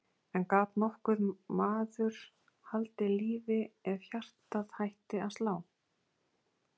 En gat nokkur maður haldið lífi ef hjartað hætti að slá?